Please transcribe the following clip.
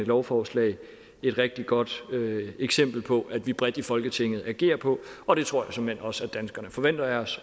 lovforslag et rigtig godt eksempel på at vi bredt i folketinget agerer på og det tror jeg såmænd også at danskerne forventer af os